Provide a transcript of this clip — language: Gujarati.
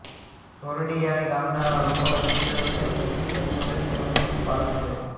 જોરડીયાળી ગામના લોકોનો મુખ્ય વ્યવસાય ખેતી ખેતમજૂરી તેમ જ પશુપાલન છે